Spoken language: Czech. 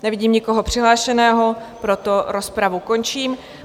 Nevidím nikoho přihlášeného, proto rozpravu končím.